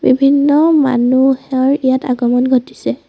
বিভিন্ন মানুহ অৰ ইয়াত আগমণ ঘটিছে।